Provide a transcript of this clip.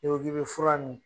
N'i ko k'i bɛ fura nin